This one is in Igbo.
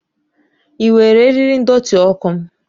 Ị were eriri ndọtị ọkụ m?